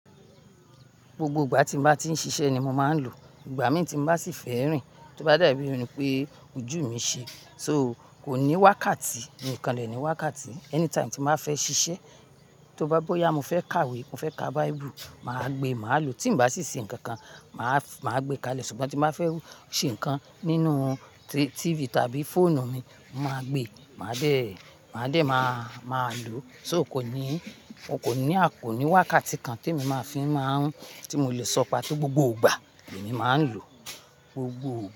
Gbogbo ìgbà tí mo bá ti ń ṣiṣẹ́ ni mo máa ń lò. Ìgbà mí tí mo bá sì fẹ́ rìn, tó bá dà bí i irun pé ojú mi ṣe. So kò ní wákàtí, nìkanlẹ̀ ni wákàtí. Anytime tí mo fẹ́ ṣiṣẹ́, tó bá bóyá mo fẹ́ kàwé, mo fẹ́ ka Bible, màá gbé, màá lò. Tí mo bá sì ṣe nǹkan kan, màá, màá gbé kalẹ̀. Ṣùgbọ́n tí mo fẹ́ ṣe nǹkan nínú tí, TV tàbí fóònù mi, mo máa gbé, màá dè, màá dè máa, máa lò. So kò ní, kò ní, a kò ní wákàtí kan tí mo máa fi máa ń, tí mo lè sọ pé tó gbogbo ìgbà èmi máa ń lò. Gbogbo.